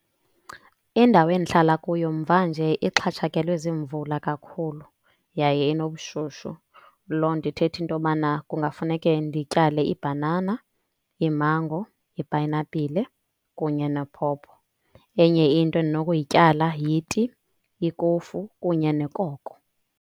Indawo endihlala kuyo, mvanje ixhatshakelwe zimvula kakhulu yaye inobushushu. Loo nto ithetha into yobana kungafuneke ndityale iibhanana, iimango, ipayinapile kunye nephopho. Enye into endinokuyityala yiti, ikofu kunye nekoko.